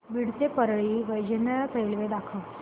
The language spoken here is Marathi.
बीड ते परळी वैजनाथ रेल्वे दाखव